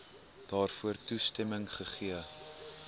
daarvoor toestemming gegee